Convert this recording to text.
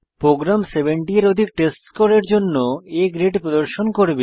programme 70 এর অধিক test score এর জন্য A গ্রেড প্রদর্শন করবে